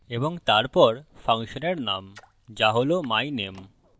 এবং তারপর ফাংশনের name যা হল myname